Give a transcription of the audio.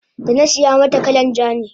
danasiya mata kalan ja ne